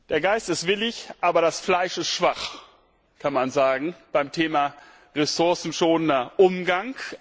Der Geist ist willig, aber das Fleisch ist schwach, kann man sagen beim Thema ressourcenschonender Umgang.